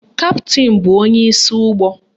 Kaptịn bụ onyeisi ụgbọ